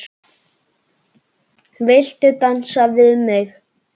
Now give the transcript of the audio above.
Viltu dansa við mig?